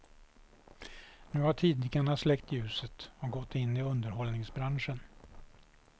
Nu har tidningarna släckt ljuset och gått in i underhållningsbranschen.